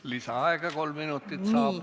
Lisaaega kolm minutit saab.